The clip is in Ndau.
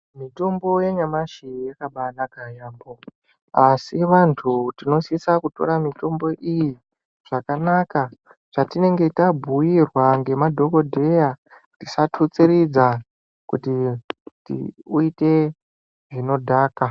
Mitombo yanyamashi yakabanaka yaambo asi vantu tinosisa kutora mitombo iyi zvakanaka zvatinenge tabhuirwa nemadhokodheya tisathutsiridza kuti uite zvinodhaka.